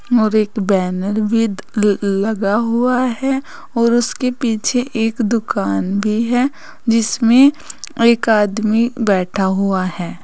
और एक बैनर की लगा हुआ है और उसके पीछे एक दुकान भी है जिसमें एक आदमी बैठा हुआ है।